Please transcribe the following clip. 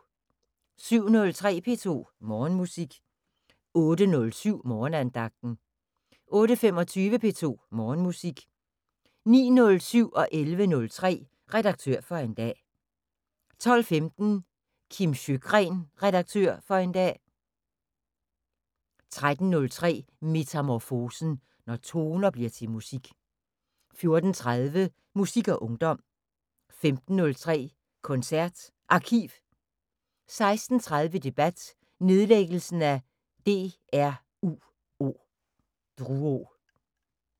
07:03: P2 Morgenmusik 08:07: Morgenandagten 08:25: P2 Morgenmusik 09:07: Redaktør for en dag 11:03: Redaktør for en dag 12:15: Kim Sjøgren Redaktør for en dag 13:03: Metamorfosen – når toner bliver til musik 14:30: Musik og ungdom 15:03: KoncertArkiv 16:30: Debat: Nedlæggelsen af DRUO